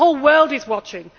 The whole world is watching.